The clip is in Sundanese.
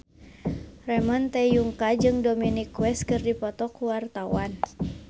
Ramon T. Yungka jeung Dominic West keur dipoto ku wartawan